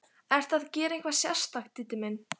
Ertu að gera eitthvað sérstakt, Diddi minn.